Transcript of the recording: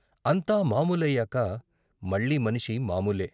అంతా మామూలయ్యాక మళ్ళీ మనిషి మామూలే.